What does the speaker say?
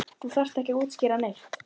Þú þarft ekki að útskýra neitt.